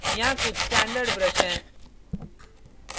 यहाँ कुछ standard brush हैं